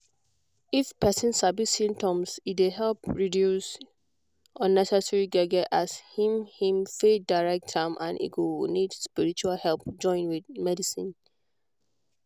if person sabi symptoms e dey help reduce unnecessary gbege as him him faith direct am and e go need spiritual help join with medicine.